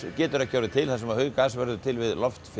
getur ekki orðið til þar sem að hauggas verður til við